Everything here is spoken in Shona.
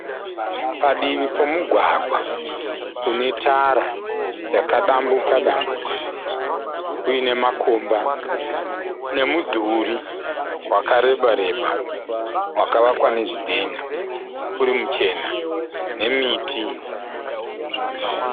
Padivi pomugwagwa une tara yakadambuka dambuka uine makomba. Nemudhuri wakareba reba wakavakwa nezvidhinha urimuchena nemiti.